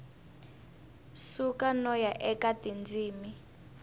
suka no ya eka tindzimi